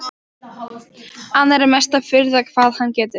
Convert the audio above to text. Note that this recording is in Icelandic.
Annars er mesta furða hvað hann getur.